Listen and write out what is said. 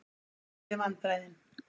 meiri vandræðin!